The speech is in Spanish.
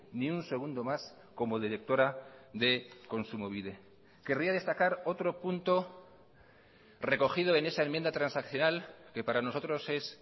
ni un segundo más como directora de kontsumobide querría destacar otro punto recogido en esa enmienda transaccional que para nosotros es